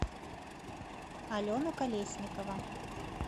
алена колесникова